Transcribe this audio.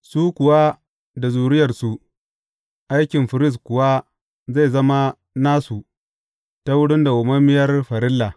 Su kuwa da zuriyarsu, aikin firist kuwa zai zama nasu ta wurin dawwammamiyar farilla.